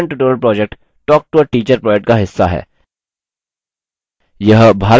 spoken tutorial project talktoateacher project का हिस्सा है